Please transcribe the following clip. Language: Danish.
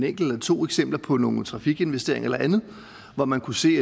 enkelt eller to eksempler på nogle trafikinvesteringer eller andet hvor man kunne se